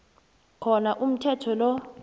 khona umthetho lo